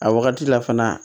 A wagati la fana